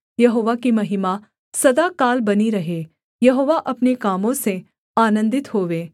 यहोवा की महिमा सदाकाल बनी रहे यहोवा अपने कामों से आनन्दित होवे